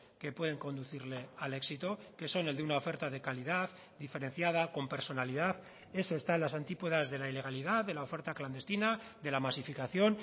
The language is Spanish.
que pueden conducirle al éxito que son el de una oferta de calidad diferenciada con personalidad eso está en las antípodas de la ilegalidad de la oferta clandestina de la masificación